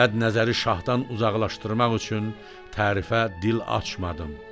Bədnəzəri şahdan uzaqlaşdırmaq üçün tərifə dil açmadım.